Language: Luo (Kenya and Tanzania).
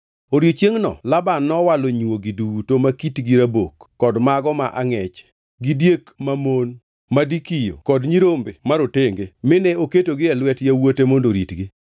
Odiechiengʼno Laban nowalo nywogi duto ma kitgi rabok kod mago ma angʼech, gi diek mamon (ma dikiyo) kod nyirombe marotenge mine oketogi e lwet yawuote mondo oritgi.